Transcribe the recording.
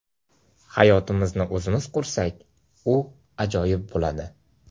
Hayotimizni o‘zimiz qursak, u ajoyib bo‘ladi.